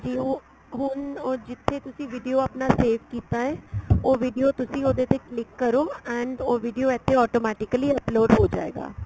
ਉਹ ਹੁਣ ਉਹ ਜਿੱਥੇ ਤੁਸੀਂ video ਆਪਣਾ save ਕੀਤਾ ਏ ਉਹ video ਤੁਸੀਂ ਉਹਦੇ ਤੇ click ਕਰੋ and ਉਹ video ਇੱਥੇ automatically upload ਹੋ ਜਾਏਗਾ